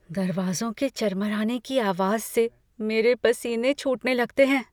दरवाज़ों के चरमराने की आवाज़ से मेरे पसीने छूटने लगते हैं।